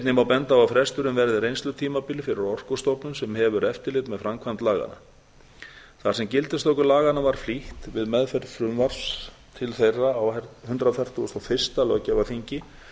einnig má benda á að fresturinn verði reynslutímabil fyrir orkustofnun sem hefur eftirlit með framkvæmd laganna þar sem gildistöku laganna var flýtt við meðferð frumvarps til þeirra á hundrað fertugasta og fyrsta löggjafarþingi